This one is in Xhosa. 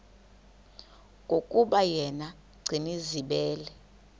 yokuba yena gcinizibele